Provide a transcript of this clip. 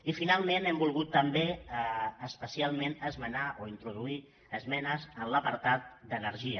i finalment hem volgut també especialment esmenar o introduir esmenes a l’apartat d’energia